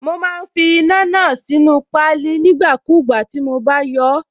Mo má ń fi iná náà sínú páálí nígbàkúùgbà tí mo bá yọọ́.